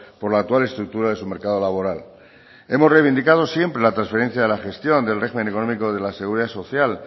por la actual estructura de su mercado laboral hemos reivindicado siempre la transferencia de la gestión del régimen económico de la seguridad social